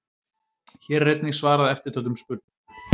Hér er einnig svarað eftirtöldum spurningum: